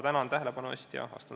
Tänan tähelepanu eest!